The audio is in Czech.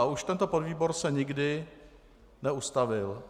A už tento podvýbor se nikdy neustavil.